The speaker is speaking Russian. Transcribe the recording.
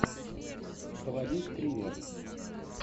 заводи стример